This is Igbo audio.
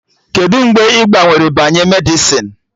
Kedụ mgbe ị gbanwere banye Medịsịn?